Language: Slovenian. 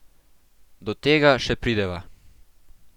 Do tega še prideva.